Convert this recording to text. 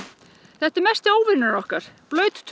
þetta er mesti óvinur okkar